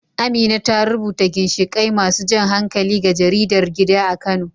Amina ta rubuta ginshiƙai masu jan hankali ga jaridar gida a Kano.